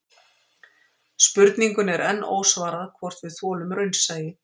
Spurningunni er enn ósvarað hvort við þolum raunsæi